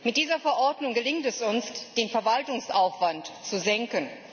Mit dieser Verordnung gelingt es uns, den Verwaltungsaufwand zu senken.